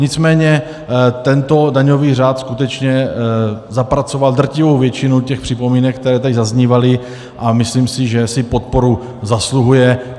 Nicméně tento daňový řád skutečně zapracoval drtivou většinu těch připomínek, které tady zaznívaly, a myslím si, že si podporu zasluhuje.